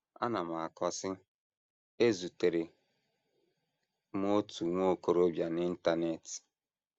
Ọ na - akọ, sị: “ Ezutere m otu nwa okorobịa n’Internet.